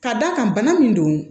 Ka d'a kan bana min don